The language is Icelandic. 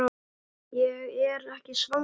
Ég er ekki svangur